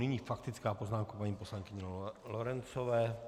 Nyní faktická poznámka paní poslankyně Lorencové.